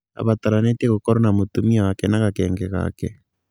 Abataranĩtie gũkorwo na mũtumia wake na gakenge gake.